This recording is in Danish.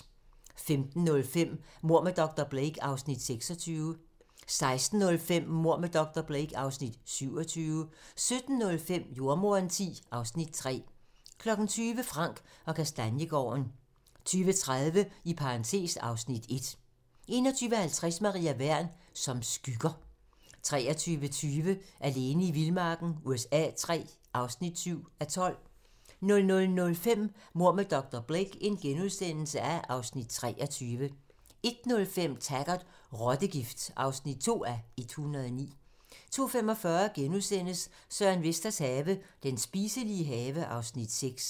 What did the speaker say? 15:05: Mord med dr. Blake (Afs. 26) 16:05: Mord med dr. Blake (Afs. 27) 17:05: Jordemoderen X (Afs. 3) 20:00: Frank & Kastaniegaarden 20:30: (Afs. 1) 21:50: Maria Wern: Som skygger 23:20: Alene i vildmarken USA III (7:12) 00:05: Mord med dr. Blake (Afs. 23)* 01:05: Taggart: Rottegift (2:109) 02:45: Søren Vesters have - Den spiselige have (Afs. 6)*